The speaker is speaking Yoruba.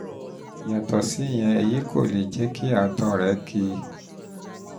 yàtọ̀ síyẹn èyí kò lè jẹ́ kí àtọ̀ rẹ́ ki